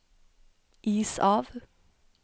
is av